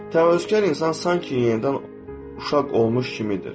Təvazökar insan sanki yenidən uşaq olmuş kimidir.